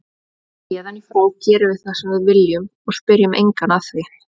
Héðan í frá gerum við það sem við viljum og spyrjum engan að því.